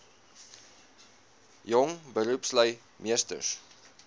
jong beroepslui meesters